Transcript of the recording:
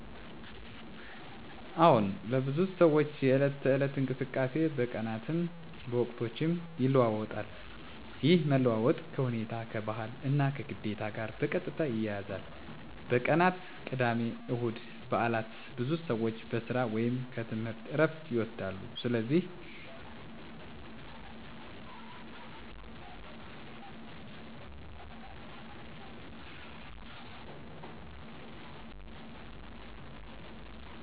አዎን፣ ለብዙ ሰዎች የዕለት ተዕለት እንቅስቃሴ በቀናትም በወቅቶችም ይለዋዋጣል። ይህ መለዋወጥ ከሁኔታ፣ ከባህል እና ከግዴታ ጋር በቀጥታ ይያያዛል። በቀናት (ቅዳሜ፣ እሁድ፣ በዓላት): ብዙ ሰዎች ከሥራ ወይም ከትምህርት ዕረፍት ይወስዳሉ፣ ስለዚህ መንገድ መጓጓዝ ይቀንሳል ከቤተሰብ እና ከጓደኞች ጋር ጊዜ ማሳለፍ ይጨምራል በዓላት ላይ ልዩ ልምዶች (ጉብኝት፣ ልዩ ምግብ፣ ስነ-ሃይማኖት ተግባሮች) ይገባሉ 👉 ምክንያቱም እነዚህ ቀናት ከመደበኛ ግዴታ የተለዩ ስለሆኑ ነው። በወቅቶች (ዝናባማ እና ደረቅ): በዝናባማ ወቅት መውጣት ይቀንሳል፣ እንቅስቃሴዎችም በቤት ውስጥ ይጨምራሉ በግብርና ላይ የተመሠረቱ ማህበረሰቦች ላይ ይህ ወቅት የሥራ ጫና ይጨምራል